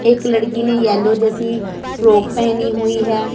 एक लड़की ने येलो जैसी फ्रॉक पेहनी हुई है।